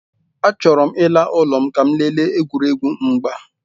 Achọrọ m ịla n'ụlọ ka m lelee egwuregwu mgba.